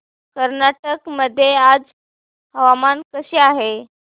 कर्नाटक मध्ये आज हवामान कसे आहे